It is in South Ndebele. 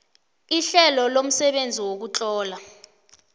ihlelo lomsebenzi wokutlola